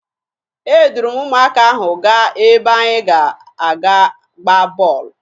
Eduru m ụmụaka ahụ gaa ebe anyị ga-aga gbaa bọọlụ